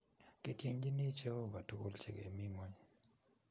Kitienjini Jehova tugul che kemi ngony